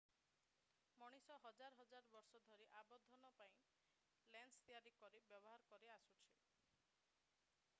ମଣିଷ ହଜାର ହଜାର ବର୍ଷ ଧରି ଆବର୍ଦ୍ଧନ ପାଇଁ ଲେନ୍ସ ତିଆରି କରି ବ୍ୟବହାର କରି ଆସୁଛି